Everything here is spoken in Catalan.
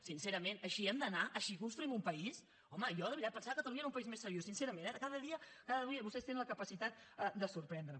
sincerament així hem d’anar així construïm un país home jo de veritat pensava que catalunya era un país més seriós sincerament eh cada dia vostès tenen la capacitat de sorprendre’m